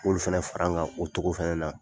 N b'o fana fara an kan o cogo fana na.